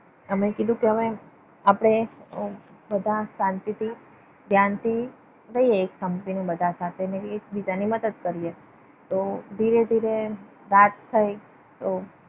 અમે કીધું કે હવે આપણે બધા શાંતિથી ધ્યાનથી જોઈએ. એક સંપીને બધા સાથે ને એકબીજાની મદદ કરીએ. તો ધીરે ધીરે રાત થઈ. તો